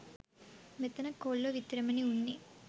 මෙතන කොල්ලෝ විතරමනේ උන්නේ.